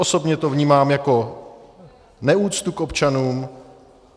Osobně to vnímám jako neúctu k občanům.